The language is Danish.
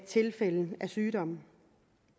tilfælde af sygdom